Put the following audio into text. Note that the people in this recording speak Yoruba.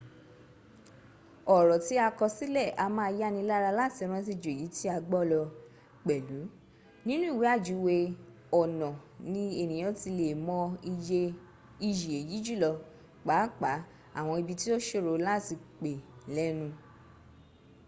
ọ̀rọ̀ tí a kọ sílẹ̀ a máa yánilára láti rántí ju èyí tí a gbọ́ lọ pẹ̀lú nínú ìwe ajúwe ọnà ni ènìyàn ti le è mọ iyì èyí jùlọ pàapàá àwọn ibi tí o ṣòro láti pè lẹ́nu